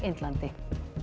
Indlandi